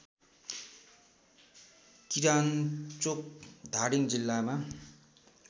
किरान्चोक धादिङ जिल्लामा